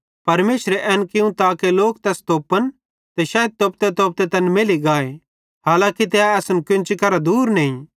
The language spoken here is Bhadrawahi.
परमेशरे एन कियूं ताके लोक तैस तोप्पन ते शैइद तोपतेतोपते तैन मैल्ली गाए हालांकी तै असन केन्ची करां दूर नईं